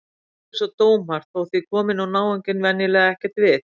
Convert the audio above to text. Fólk er svo dómhart þótt því komi nú náunginn venjulega ekkert við.